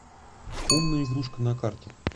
умная игрушка на карте